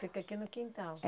Fica aqui no quintal.